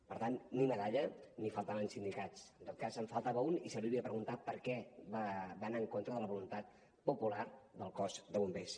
per tant ni medalla ni faltaven sindicats en tot cas en faltava un i se li hauria de preguntar per què va anar en contra de la voluntat popular del cos de bombers